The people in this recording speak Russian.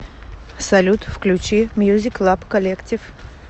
салют включи мьюзик лаб коллектив